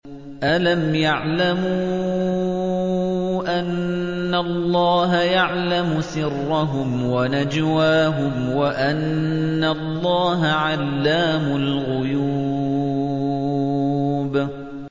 أَلَمْ يَعْلَمُوا أَنَّ اللَّهَ يَعْلَمُ سِرَّهُمْ وَنَجْوَاهُمْ وَأَنَّ اللَّهَ عَلَّامُ الْغُيُوبِ